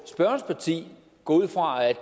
spørgerens parti går ud fra at